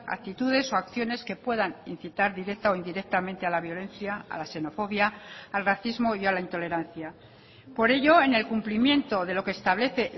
actitudes o acciones que puedan incitar directa o indirectamente a la violencia a la xenofobia al racismo y a la intolerancia por ello en el cumplimiento de lo que establece